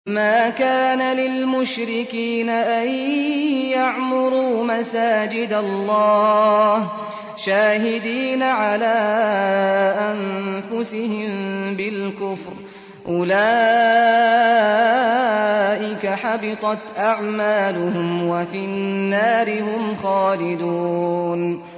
مَا كَانَ لِلْمُشْرِكِينَ أَن يَعْمُرُوا مَسَاجِدَ اللَّهِ شَاهِدِينَ عَلَىٰ أَنفُسِهِم بِالْكُفْرِ ۚ أُولَٰئِكَ حَبِطَتْ أَعْمَالُهُمْ وَفِي النَّارِ هُمْ خَالِدُونَ